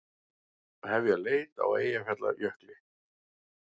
Hefja leit á Eyjafjallajökli